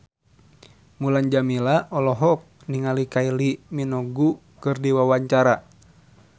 Mulan Jameela olohok ningali Kylie Minogue keur diwawancara